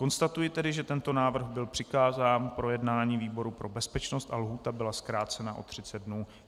Konstatuji tedy, že tento návrh byl přikázán k projednání výboru pro bezpečnost a lhůta byla zkrácena o 30 dnů.